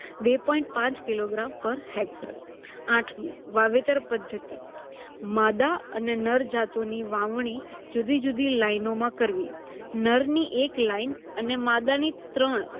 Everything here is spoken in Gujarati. બે point પાચ kilogram પર hector. આઠમું વાવેતર પદ્ધતિ - માદા અને નર જાતોની વાવણી જુદી-જુદી લાઇનોમાં કરવી. નરની એક line અને માદાની ત્રણ